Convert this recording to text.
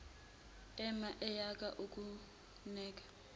ema eyeka ukuneka